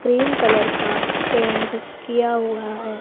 Cream colour का paint किया हुआ है।